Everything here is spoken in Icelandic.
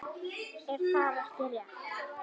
Er það ekki rétt?